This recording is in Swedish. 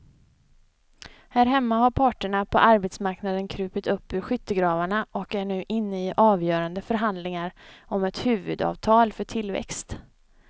Här hemma har parterna på arbetsmarknaden krupit upp ur skyttegravarna och är nu inne i avgörande förhandlingar om ett huvudavtal för tillväxt.